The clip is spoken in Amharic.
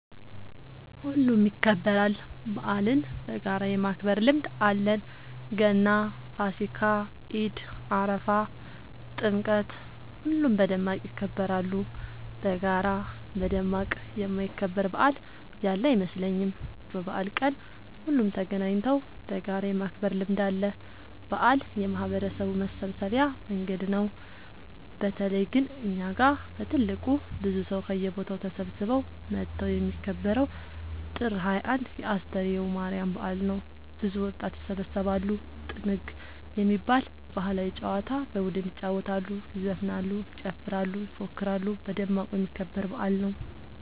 ሁሉም ይከበራል። በአልን በጋራ የማክበር ልምድ አለን ገና ፋሲካ ኢድ አረፋ ጥምቀት ሁሉም በደማቅ ይከበራሉ። በጋራ በደማቅ የማይከበር በአል ያለ አይመስለኝም። በበአል ቀን ሁሉም ተገናኘተው በጋራ የማክበር ልምድ አለ። በአል የማህበረሰቡ መሰብሰቢያ መንገድ ነው። በተለይ ግን እኛ ጋ በትልቁ ብዙ ሰው ከየቦታው ተሰብስበው መተው የሚከበረው ጥር 21 የ አስተርዮ ማርያም በአል ነው። ብዙ ወጣት ይሰባሰባሉ። ጥንግ የሚባል ባህላዊ ጨዋታ በቡድን ይጫወታሉ ይዘፍናሉ ይጨፍራሉ ይፎክራሉ በደማቁ የሚከበር በአል ነው።